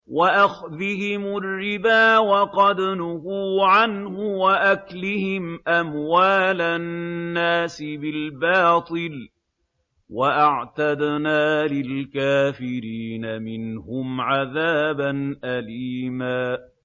وَأَخْذِهِمُ الرِّبَا وَقَدْ نُهُوا عَنْهُ وَأَكْلِهِمْ أَمْوَالَ النَّاسِ بِالْبَاطِلِ ۚ وَأَعْتَدْنَا لِلْكَافِرِينَ مِنْهُمْ عَذَابًا أَلِيمًا